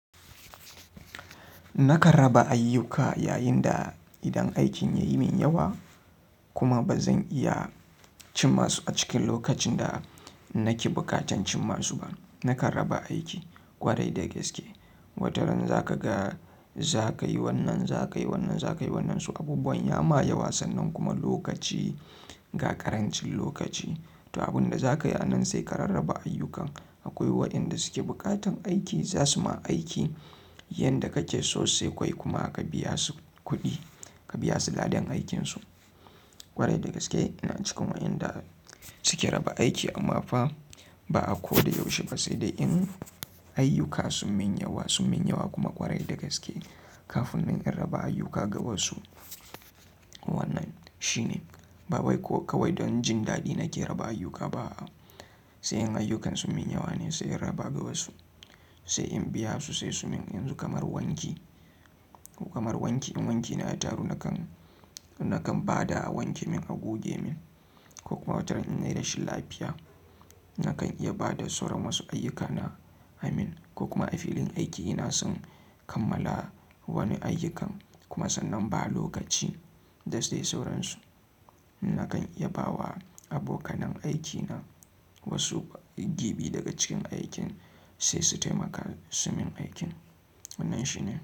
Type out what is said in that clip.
Naka raba ayyuka yayin da idan aikin ya yi min yawa kuma ba zan iya cin masu a cikin lokacin da nake bukatan cin masu ba. Nakan raba aiki ƙwarai da gaske. Wataran za ka ga, za ka yi wannan, za ka yi wannan, za ka yi wannan, su abubuwan ya ma ya san nan kuma lokaci, gagarancin lokaci. To, abin da za ka yi a nan sai ka rarraba ayyukan. Akwai waɗanda suke bukatan aiki, za su ma aiki yanda kake so sai kawai kuma ka biya su kuɗi, ka biya su ladan aikinsu ƙwarai da gaske. Ina cika wa yanda suke raba aiki amma fa ba a ko da yaushe ba. Sai dai in ayyuka sun min yawa, sun min yawa kuma ƙwarai da gaske. Kafin in rarraba ayyuka ga wasu wannan shine. Ba wai ko kawai don jin daɗi nake raba ayyuka ba. Sai in ayyukansu min yawane, sai in raba ga wasu. Sai in biya su, sai su min yanzu kamar wanki. Kamar wanki, in wanki na a taro nakan, nakan bada a wanke min a goge min ko kuma wataran in yi rashin lafiya, nakan iya bada sauran wasu ayyukana a min ko kuma a filin aiki ina son kammala wani ayyukan kuma sannan ba lokaci da sai sauransu. Nakan iya bawa abokanai aikina wasu gibi daga cikin aikin sai su taimaka su min aikin. Wannan shine.